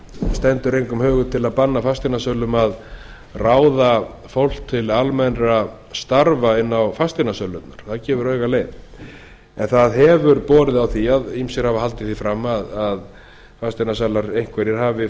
stendur engum hugur til að banna fasteignasölum að ráða fólk til almennra starfa inni á fasteignasölum það gefur auga leið en það hefur borið á því og ýmsir hafa haldið því fram að fasteignasalar einhverjir hafi